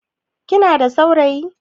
Kina da saurayi?